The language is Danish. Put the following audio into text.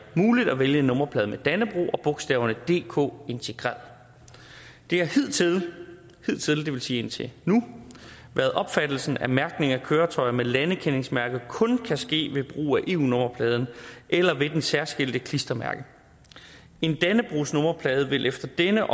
muligt at vælge en nummerplade med dannebrog og bogstaverne dk integreret det har hidtil hidtil vil sige indtil nu været opfattelsen at mærkning af køretøjer med landekendingsmærke kun kan ske ved brug af eu nummerpladen eller ved det særskilte klistermærke en dannebrogsnummerplade vil efter denne